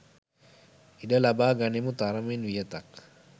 ඉඩ ලබා ගනිමු තරමින් වියතක්